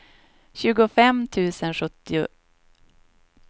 tjugofem tusen sjuttio